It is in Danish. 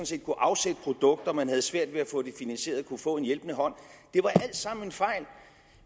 set kunne afsætte produkter men havde svært ved at få det finansieret kunne få en hjælpende hånd det var alt sammen en fejl